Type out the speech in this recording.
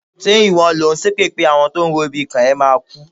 Ṣé ìwọ lò ń ṣépè pé àwọn tó ń ro ibi kàn ẹ́ máa kú?